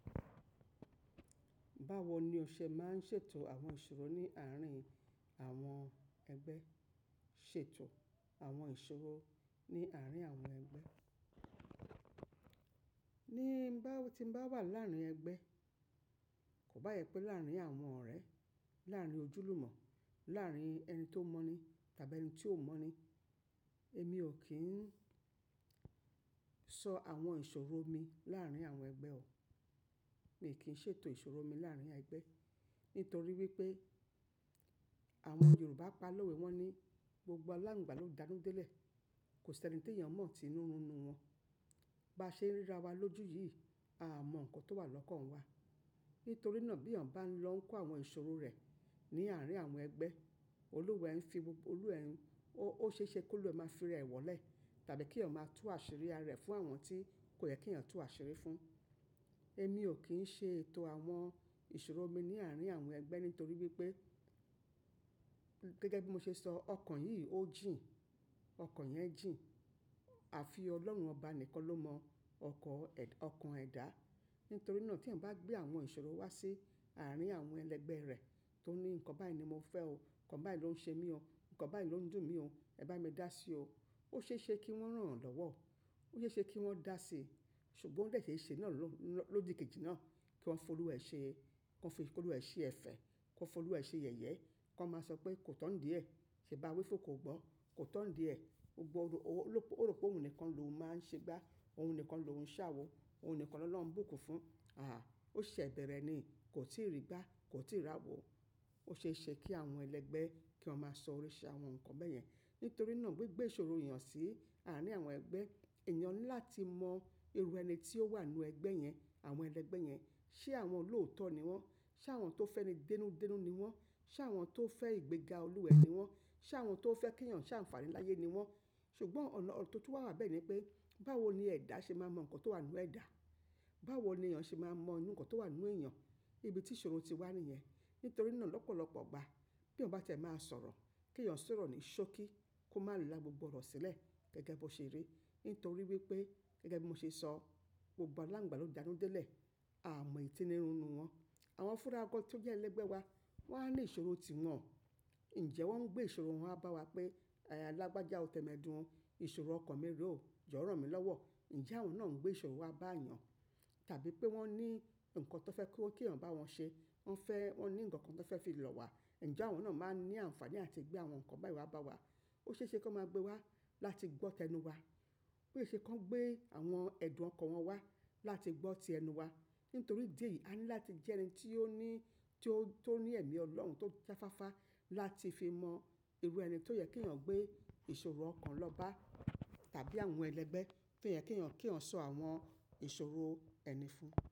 Báwo ni ọṣẹ máa ń ṣètò àwọn ìṣòro ní àárín àwọn ẹgbẹ́? Ṣètò àwọn ìṣòro ní àárín àwọn ẹgbẹ́ ni bá ti bá wà láàárín ẹgbẹ́, kò bá yẹpẹ́ láàárín àwọn ọ̀rẹ́, láàárín ojúlùmọ̀, láàárín ẹni tó mọ̀ ni tàbí ẹni tí ò mọ̀ ni. Èmi ò kí ń sọ àwọn ìṣòro mi láàárín àwọn ẹgbẹ́ o. Mi ò kí ń ṣètò ìṣòro mi láàárín ẹgbẹ́. Nítorí wípé àwọn Yorùbá pa lówó wọn ní gbogbo aláǹgbá ló danú délẹ̀. Kò sí ẹni tó yàn mọ̀ tí inú runu wọn. Bá ṣe ríra wa lójú yìí, a mọ nǹkan tó wà lọ́kàn wa. Nítorí náà bí èèyàn bá ń lọ kó àwọn ìṣòro rẹ̀ ní àárín àwọn ẹgbẹ́, Olúwa ẹ̀ fi gbogbo olú ẹ̀, ó ṣe é ṣe kó lú ẹ máa fi rẹ̀ wọlé tàbí kí èèyàn máa tú àṣírí ara ẹ fún àwọn tí kò yẹ kí èèyàn tú àṣírí fún. Èmi ò kí ń ṣètò àwọn ìṣòro mi ní àárín àwọn ẹgbẹ́ nítorí wípé gẹ́gẹ́ bí mo ṣe sọ ọkàn yìí ó jìn, ọkàn yẹn jìn. Àfi ọlọ́run ọba nìkan ló mọ ọkọ ẹ̀, ọkàn ẹ̀dá. Nítorí náà tí èèyàn bá gbé àwọn ìṣòro wá sí àárín àwọn ẹlẹgbẹ́ rẹ̀ tó ní nǹkan báyìí ni mo fẹ́ o, nǹkan báyìí ló ń ṣe mí o, nǹkan báyìí ló ń dùn mí o, ẹ bá mi dá sí o. Ó ṣe é ṣe kí wọ́n ràn án lọ́wọ́. Ó ṣe é ṣe kí wọ́n dá sí. Ṣùgbọ́n o dẹ́sẹ̀ ṣéṣe náà ló ń lọ lódì kejì náà kí wọ́n fi olú wa ṣe, kí wọ́n fi olú ẹ ṣe ẹ̀fẹ̀, kí wọ́n fi olú ẹ ṣe iyẹ̀yẹ. Kí wọ́n máa sọ pé kò tọ̀ nídiẹ̀, ṣe bá wí fún òun kò gbọ́. Kò tọ̀ nídiẹ̀, ó gbo o ru ó rò pé òun nìkan ló máa ń ṣe gbá, òun nìkan ló ń ṣàwo, òun nìkan lọ́lohun ń bùkún fún. Àhà, ó ṣe bẹ̀rẹ̀ ni, kò tíì rí gbá, kò tíì rí àwo. Ó ṣe é ṣe kí àwọn ẹlẹgbẹ́ kí wọ́n máa sọ orí ṣe àwọn nǹkan bẹ́ẹ̀ yẹn. Nítorí náà gbi gbé ìṣòro èèyàn sí àárín àwọn ẹgbẹ́, èèyàn ní láti mọ irú ẹni tí ó wà nínú ẹgbẹ́ yẹn, àwọn ẹlẹgbẹ́ yẹn. Ṣé àwọn olóòótọ́ ni wọ́n? Ṣé àwọn tó fẹ́ni denúdenú ni wọ́n? Ṣé àwọn tó fẹ́ ìgbéga olúwa ẹ ni wọ́n? Ṣé àwọn tó fẹ́ kí èèyàn ṣàǹfààní láyé ni wọ́n? Ṣùgbọ́n ọ̀nà tó tún wà bẹ́ẹ̀ ni pé báwo ni ẹ̀dá ṣe máa mọ nǹkan tó wà nínú ẹ̀dá? Báwo ni èèyàn ṣe máa mọ nǹkan tó wà nínú èèyàn? Ibi tí ìṣòro ti wá nìyẹn. Nítorí náà lọ́pọ̀lọ́pọ̀ ọgbà bí wọ́n bá tẹ̀ẹ́ máa sọ̀rọ̀, kí èèyàn sọ̀rọ̀ ní ṣókí kó má lú lá gbogbo ọ̀rọ̀ sílẹ̀ gẹ́gẹ́ bí ó ṣe rí. Nítorí wípé gẹ́gẹ́ bí mo ṣe sọ gbogbo aláǹgbá ló danú délẹ̀. A mọ èyí tínú runu wọn. Àwọn fúnra gan tó jẹ́ ẹlẹ́gbẹ́ wa wan ní ìṣòro tiwọn. Ǹjẹ́ wọ́n ń gbé ìṣòro wọn wá bá wa pé lágbájá ó tẹ́medu ó, ìṣòro ọkàn mi re ó jo ran mi lọ́wọ́. Ǹjẹ́ àwọn náà ń gbé ìṣòro wá bá èèyàn? Tàbí pé wọ́n ní nǹkan tó fẹ́ kó kí èèyàn bá wọn ṣe. Wọ́n fẹ́, wọ́n ní nǹkan kan tó fẹ́ fi lọ̀ wá. Ǹjẹ́ àwọn náà máa ń ní àǹfààní láti gbé àwọn nǹkan báyìí wá bá wa? Ó ṣe é ṣe kí wọ́n máa gbé wá láti gbọ́tẹnu wa. Ó ṣe é ṣe kí wọ́n gbé àwọn ẹ̀dùn ọkàn wọn wá láti gbọ́tẹnu wa. Nítorí ìdí èyí a ní láti jẹ́ ẹni tí ó ní, tí ó, tí ó ní ẹ̀mí ọlọ́run tó já fáfá láti fi mọ irú ẹni tó yẹ kí èèyàn gbé ìṣòro ọkàn lọ bá tàbí àwọn ẹlẹ́gbẹ́ tí ó yẹ kí èèyàn kí èèyàn sọ àwọn ìṣòro ẹni fún.